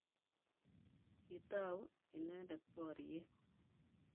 Kitau inendet boriet.